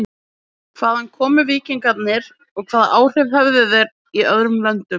Hvaðan komu víkingarnir og hvaða áhrif höfðu þeir í öðrum löndum?